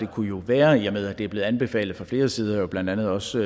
kunne være i og med at det er blevet anbefalet fra flere sider blandt andet også